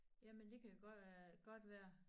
Jamen det kan godt øh godt være